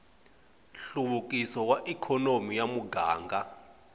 nhluvukiso wa ikhonomi ya muganga